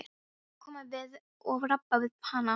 Hvernig væri að koma við og rabba við hana?